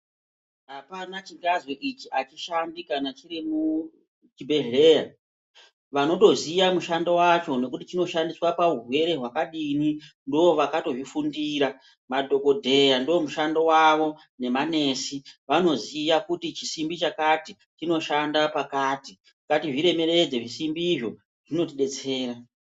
Apana chingazwi ichi achishandi kana chiri muchibhehleya, vanotoziya mushando wacho nokuti chinoshandiswa paurwere hwakadini ndiwo vakatozvifundira madhokodheya ndiwo mushando wawo nemanesi, vanoziya kuti chisimbi chakati chinoshanda pakati, ngatizviremeredze zvisimbizvo zvinotidetsera.